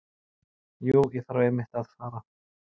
Jú, ég þarf einmitt að fara.